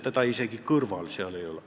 Ta ei ole isegi seal kõrval.